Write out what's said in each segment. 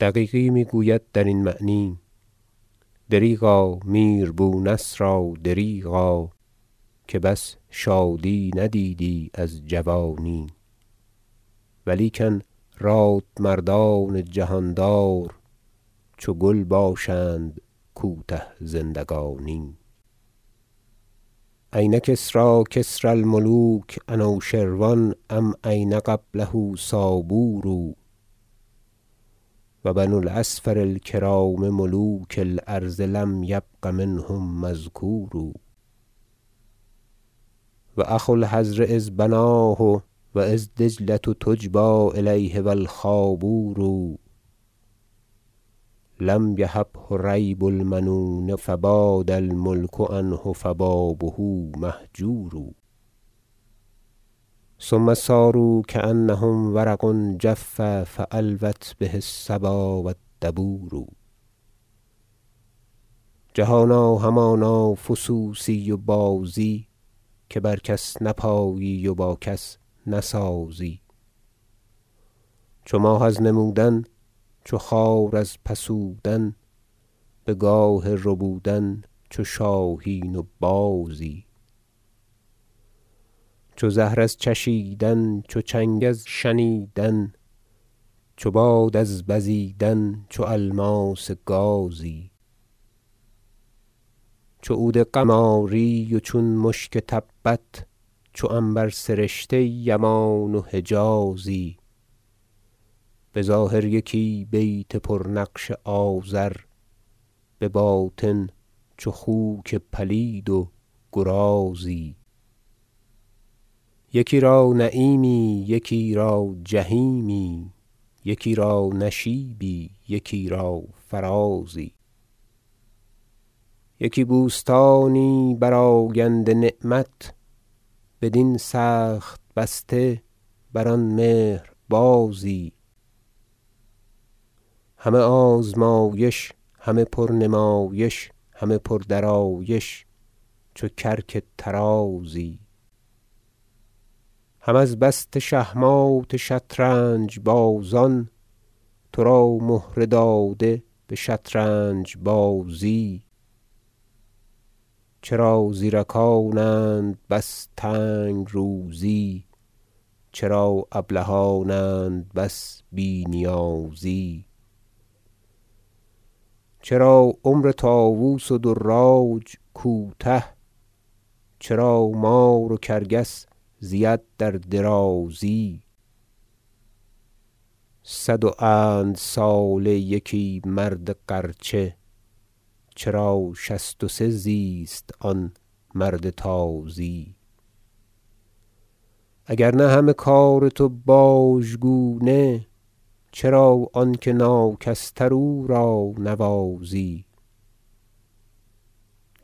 دقیقی میگوید درین معنی شعر دریغا میر بونصرا دریغا که بس شادی ندیدی از جوانی و لیکن راد مردان جهاندار چو گل باشند کوته زندگانی شعر این کسری کسری الملوک انوشر و ان ام این قبله سابور و بنو الأصفر الکرام ملوک ال أرض لم یبق منهم مذکور و اخو الحضر اذ بناه و اذ دج لة تجبی الیه و الخابور لم یهبه ریب المنون فباد ال ملک عنه فبابه مهجور ثم صاروا کانهم ورق جف فالوت به الصبا و الدبور لأبی الطیب المصعبی جهانا همانا فسوسی و بازی که بر کس نپایی و با کس نسازی چو ماه از نمودن چو خار از پسودن بگاه ربودن چو شاهین و بازی چو زهر از چشیدن چو چنگ از شنیدن چو باد از بزیدن چو الماس گازی چو عود قماری و چون مشک تبت چو عنبر سرشته یمان و حجازی بظاهر یکی بیت پرنقش آزر بباطن چو خوک پلید و گرازی یکی را نعیمی یکی را جحیمی یکی را نشیبی یکی را فرازی یکی بوستانی برآگنده نعمت بدین سخت بسته بر آن مهر بازی همه آزمایش همه پر نمایش همه پردرایش چو کرک طرازی هم از بست شه مات شطرنج بازان ترا مهره داده بشطرنج بازی چرا زیرکانند بس تنگ روزی چرا ابلهانند بس بی نیازی چرا عمر طاوس و دراج کوته چرا مار و کرکس زید در درازی صد و اند ساله یکی مرد غرچه چرا شصت و سه زیست آن مرد تازی اگر نه همه کار تو باژگونه چرا آنکه ناکس تر او را نوازی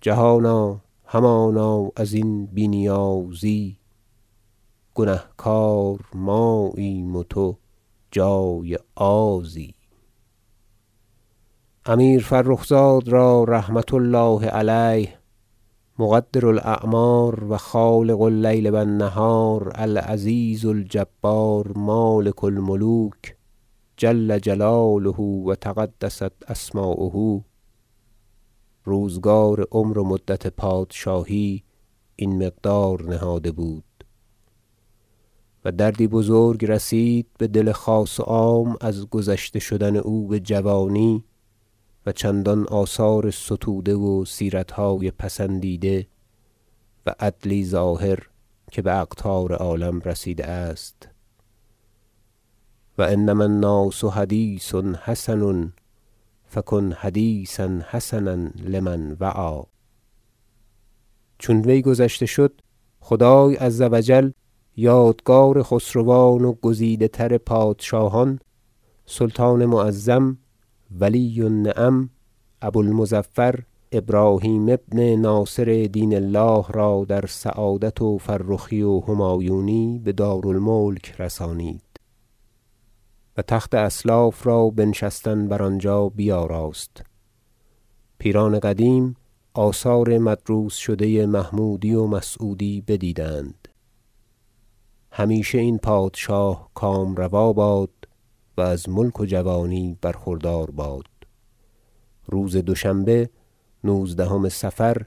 جهانا همانا ازین بی نیازی گنهکار ماییم و تو جای آزی امیر فرخ زاد را رحمة الله علیه مقدر الأعمار و خالق اللیل و النهار العزیز الجبار مالک الملوک جل جلاله و تقدست اسماؤه روزگار عمر و مدت پادشاهی این مقدار نهاده بود و دردی بزرگ رسید بدل خاص و عام از گذشته شدن او بجوانی و چندان آثار ستوده و سیرتهای پسندیده و عدلی ظاهر که باقطار عالم رسیده است شعر و انما الناس حدیث حسن فکن حدیثا حسنا لمن وعی چون وی گذشته شد خدای عز و جل یادگار خسروان و گزیده تر پادشاهان سلطان معظم ولی النعم ابو المظفر ابراهیم ابن ناصر دین الله را در سعادت و فرخی و همایونی بدار الملک رسانید و تخت اسلاف را بنشستن بر آنجا بیاراست پیران قدیم آثار مدروس شده محمودی و مسعودی بدیدند همیشه این پادشاه کام روا باد و از ملک و جوانی برخوردار باد روز دوشنبه نوزدهم صفر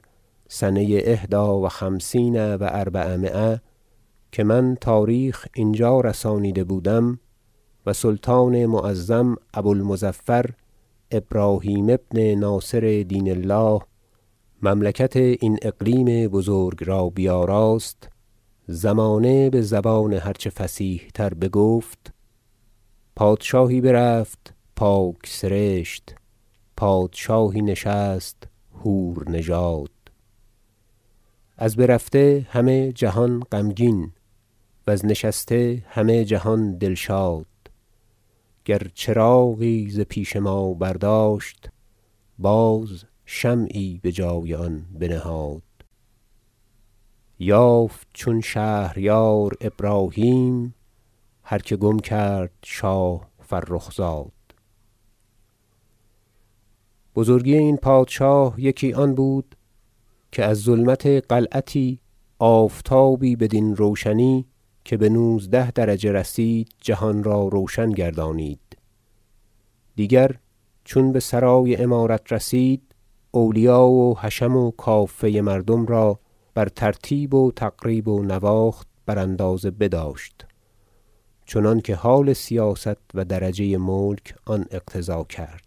سنه احدی و خمسین و اربعمایه که من تاریخ اینجا رسانیده بودم و سلطان معظم ابو المظفر ابراهیم ابن ناصر دین الله مملکت این اقلیم بزرگ را بیاراست زمانه بزبان هر چه فصیح تر بگفت شعر پادشاهی برفت پاک سرشت پادشاهی نشست حورنژاد از برفته همه جهان غمگین وز نشسته همه جهان دلشاد گر چراغی ز پیش ما برداشت باز شمعی بجای آن بنهاد یافت چون شهریار ابراهیم هر که گم کرد شاه فرخ زاد بزرگی این پادشاه یکی آن بود که از ظلمت قلعتی آفتابی بدین روشنی که بنوزده درجه رسید جهان را روشن گردانید دیگر چون بسرای امارت رسید اولیا و حشم و کافه مردم را بر ترتیب و تقریب و نواخت براندازه بداشت چنانکه حال سیاست و درجه ملک آن اقتضا کرد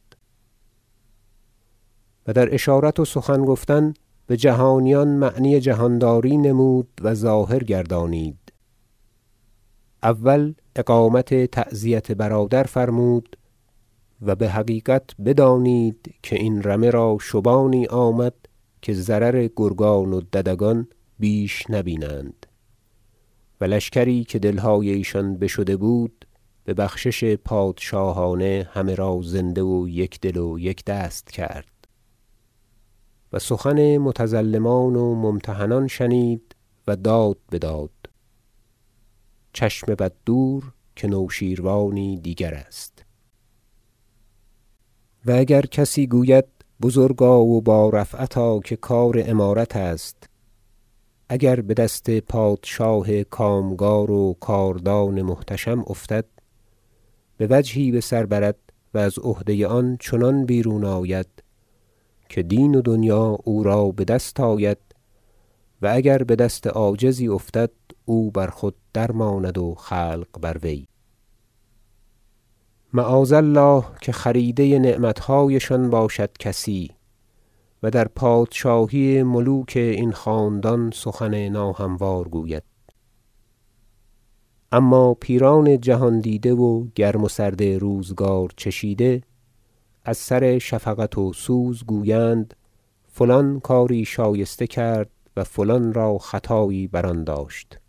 و در اشارت و سخن گفتن بجهانیان معنی جهانداری نمود و ظاهر گردانید اول اقامت تعزیت برادر فرمود و بحقیقت بدانید که این رمه را شبانی آمد که ضرر گرگان و ددگان بیش نبینند و لشکری که دلهای ایشان بشده بود ببخشش پادشاهانه همه را زنده و یک دل و یک دست کرد و سخن متظلمان و ممتحنان شنید و داد بداد چشم بد دور که نوشیروانی دیگر است و اگر کسی گوید بزرگا و با رفعتا که کار امارت است اگر بدست پادشاه کامگار و کاردان محتشم افتد بوجهی بسر برد و از عهده آن چنان بیرون آید که دین و دنیا او را بدست آید و اگر بدست عاجزی افتد او بر خود درماند و خلق بر وی معاذ الله که خریده نعمتهایشان باشد کسی و در پادشاهی ملوک این خاندان سخن ناهموار گوید اما پیران جهاندیده و گرم و سرد روزگار چشیده از سر شفقت و سوز گویند فلان کاری شایسته کرد و فلان را خطایی بر آن داشت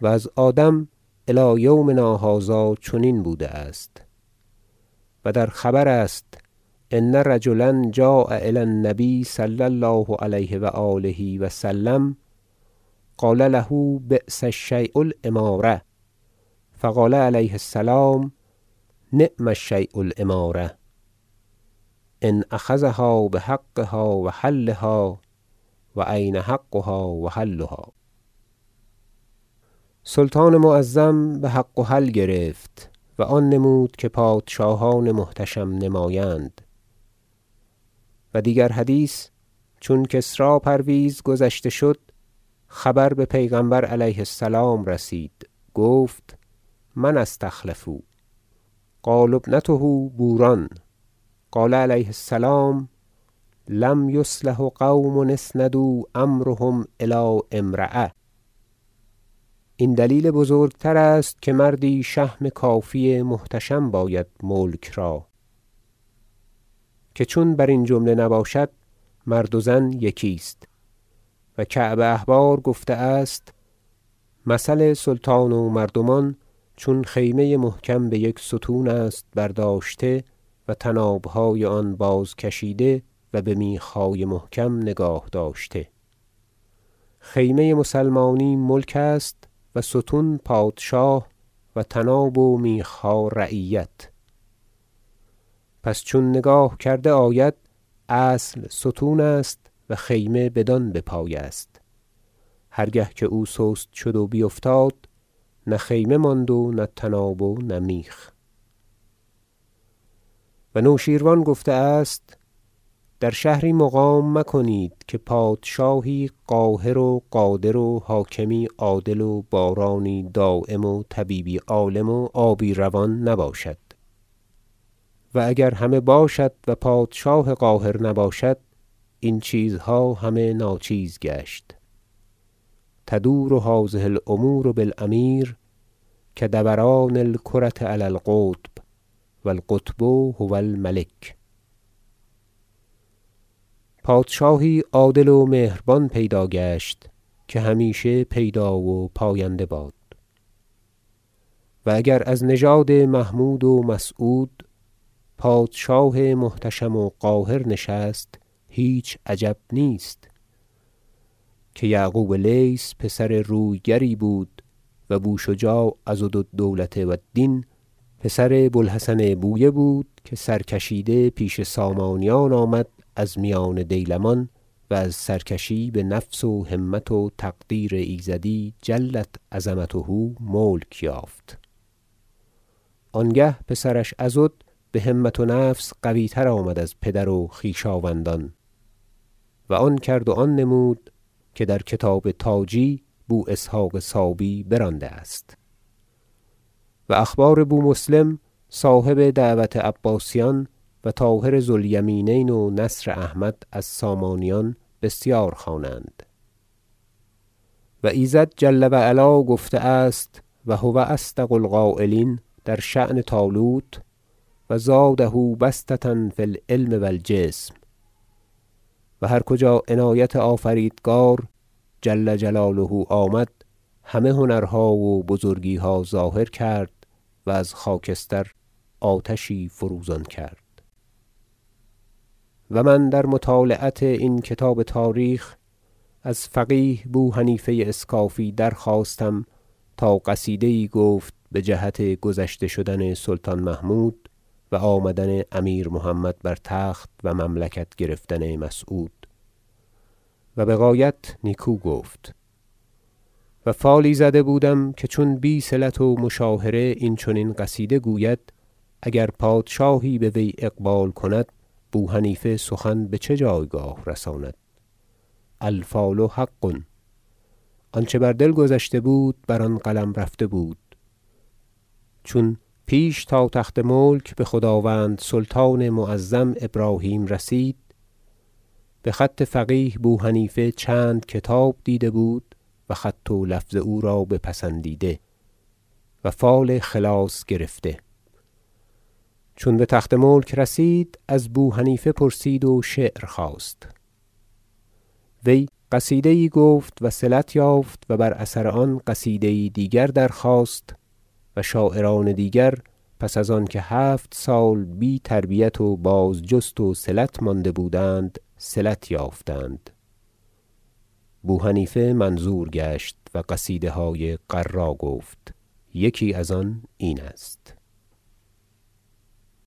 و از آدم الی یومنا هذا چنین بوده است و در خبر است ان رجلا جاء الی النبی صلی الله علیه و آله و سلم قال له بیس الشی الأمارة فقال علیه السلام نعم الشی الأمارة ان اخذها بحقها و حلها و این حقها و حلها سلطان معظم بحق و حل گرفت و آن نمود که پادشاهان محتشم نمایند و دیگر حدیث چون کسری پرویز گذشته شد خبر به پیغمبر علیه السلام رسید گفت من استخلفوا قالوا ابنته بوران قال علیه السلام لن یصلح قوم اسندوا امرهم الی امرأة این دلیل بزرگتر است که مردی شهم کافی محتشم باید ملک را که چون برین جمله نباشد مرد و زن یکی است و کعب احبار گفته است مثل سلطان و مردمان چون خیمه محکم بیک ستون است برداشته و طنابهای آن بازکشیده و بمیخهای محکم نگاه داشته خیمه مسلمانی ملک است و ستون پادشاه و طناب و میخها رعیت پس چون نگاه کرده آید اصل ستون است و خیمه بدان بپای است هر گه که او سست شد و بیفتاد نه خیمه ماند و نه طناب و نه میخ و نوشیروان گفته است در شهری مقام مکنید که پادشاهی قاهر و قادر و حاکمی عادل و بارانی دایم و طبیبی عالم و آبی روان نباشد و اگر همه باشد و پادشاه قاهر نباشد این چیزها همه ناچیز گشت تدور هذه الأمور بالأمیر کدوران الکرة علی القطب و القطب هو الملک پادشاهی عادل و مهربان پیدا گشت که همیشه پیدا و پاینده باد و اگر از نژاد محمود و مسعود پادشاه محتشم و قاهر نشست هیچ عجب نیست که یعقوب لیث پسر روی گری بود و بوشجاع عضد الدولة و الدین پسر بوالحسن بویه بود که سرکشیده پیش سامانیان آمد از میان دیلمان و از سرکشی بنفس و همت و تقدیر ایزدی جلت عظمته ملک یافت آنگه پسرش عضد بهمت و نفس قویتر آمد از پدر و خویشاوندان و آن کرد و آن نمود که در کتاب تاجی بواسحق صابی برانده- است و اخبار بومسلم صاحب دعوت عباسیان و طاهر ذو الیمینین و نصر احمد از سامانیان بسیار خوانند و ایزد جل و علا گفته است و هو اصدق القایلین در شأن طالوت و زاده بسطة فی العلم و الجسم - و هر کجا عنایت آفریدگار جل جلاله آمد همه هنرها و بزرگیها ظاهر کرد و از خاکستر آتشی فروزان کرد قصیده ای از بو حنیفه اسکافی و من در مطالعت این کتاب تاریخ از فقیه بوحنیفه اسکافی درخواستم تا قصیده یی گفت بجهت گذشته شدن سلطان محمود و آمدن امیر محمد بر تخت و مملکت گرفتن مسعود و بغایت نیکو گفت و فالی زده بودم که چون بی صلت و مشاهره این چنین قصیده گوید اگر پادشاهی بوی اقبال کند بوحنیفه سخن بچه جایگاه رساند الفال حق آنچه بر دل گذشته بود بر آن قلم رفته بود چون پیش تا تخت ملک بخداوند سلطان معظم ابراهیم رسید بخط فقیه بوحنیفه چند کتاب دیده بود و خط و لفظ او را بپسندیده و فال خلاص گرفته چون بتخت ملک رسید از بوحنیفه پرسید و شعر خواست وی قصیده یی گفت وصلت یافت و بر اثر آن قصیده یی دیگر درخواست و شاعران دیگر پس از آنکه هفت سال بی تربیت و بازجست و صلت مانده بودند صلت یافتند بوحنیفه منظور گشت و قصیده های غرا گفت یکی از آن این است